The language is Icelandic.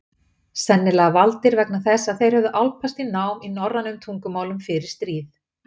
Sennilega valdir vegna þess að þeir höfðu álpast í nám í norrænum tungumálum fyrir stríð.